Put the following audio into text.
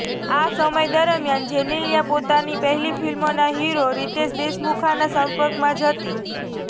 આ સમય દરમિયાન જેનેલિયા પોતાની પહેલી ફિલમના હીરો રીતેશ દેશમુખના સંપર્કમાં જ હતી